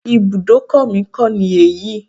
Ibùdókọ̀ mi kọ́ ni èyí.